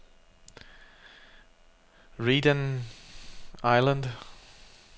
Redang Island